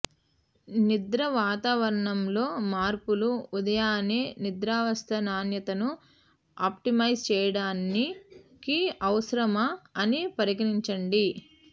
నిద్ర వాతావరణంలో మార్పులు ఉదయాన్నే నిద్రావస్థ నాణ్యతను ఆప్టిమైజ్ చేయడానికి అవసరమా అని పరిగణించండి